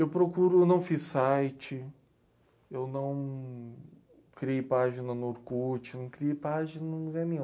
Eu procuro, eu não fiz site, eu não criei página no Orkut, não criei página em nenhum lugar nenhum.